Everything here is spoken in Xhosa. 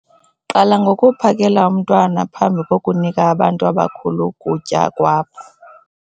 Qala ngokuphakela umntwana phambi kokunika abantu abakhulu ukutya kwabo.